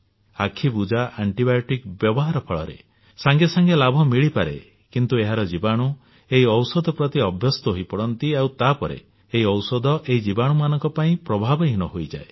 ଆଖିବୁଜା ଆଣ୍ଟିବାୟୋଟିକ୍ ବ୍ୟବହାର ଫଳରେ ସାଙ୍ଗେ ସାଙ୍ଗେ ଲାଭ ମିଳିପାରେ କିନ୍ତୁ ଏହାର ଜୀବାଣୁ ଏହି ଔଷଧ ପ୍ରତି ଅଭ୍ୟସ୍ତ ହୋଇପଡନ୍ତି ଆଉ ତା ପରେ ଏହି ଔଷଧ ଏହି ଜୀବାଣୁମାନଙ୍କ ପାଇଁ ପ୍ରଭାବହୀନ ହୋଇଯାଏ